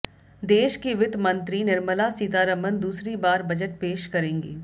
देश की वित्त मंत्री निर्मला सीतारमण दूसरी बार बजट पेश करेंगी